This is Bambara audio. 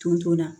Tonso la